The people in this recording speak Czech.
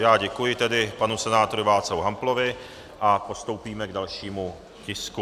Já děkuji tedy panu senátorovi Václavu Hamplovi a postoupíme k dalšímu tisku.